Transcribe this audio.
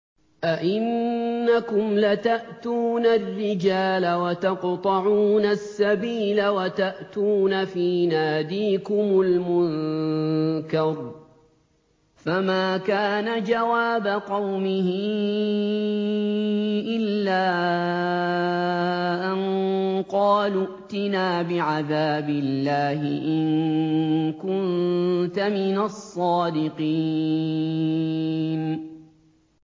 أَئِنَّكُمْ لَتَأْتُونَ الرِّجَالَ وَتَقْطَعُونَ السَّبِيلَ وَتَأْتُونَ فِي نَادِيكُمُ الْمُنكَرَ ۖ فَمَا كَانَ جَوَابَ قَوْمِهِ إِلَّا أَن قَالُوا ائْتِنَا بِعَذَابِ اللَّهِ إِن كُنتَ مِنَ الصَّادِقِينَ